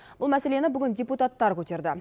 бұл мәселені бүгін депутаттар көтерді